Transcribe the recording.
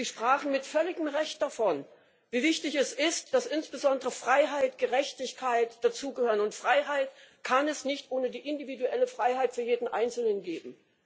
Sie sprachen mit völligem Recht davon, wie wichtig es ist, dass insbesondere Freiheit, Gerechtigkeit dazugehören, und Freiheit kann es nicht ohne die individuelle Freiheit für jeden einzelnen geben.